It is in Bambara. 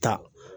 Ka